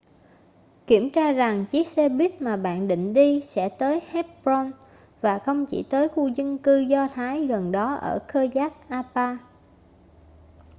kiểm tra rằng chiếc xe buýt mà bạn định đi sẽ tới hebron và không chỉ tới khu dân cư do thái gần đó ở kiryat arba